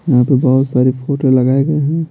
यहाँ पे बहुत सारी फोटो लगाए गए हैं।